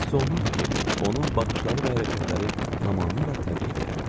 Hiss olunurdu ki, onun baxışları və hərəkətləri tamamilə təmkinlidir.